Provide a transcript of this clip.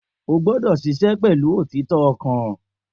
O gbọ́dọ̀ ṣiṣẹ́ pẹ̀lú òtítọ́ ọkàn